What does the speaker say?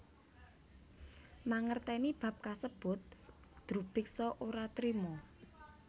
Mangerteni bab kasebut drubiksa ora trima